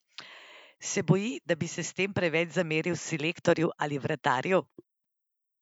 Se boji, da bi se s tem preveč zameril selektorju ali vratarju?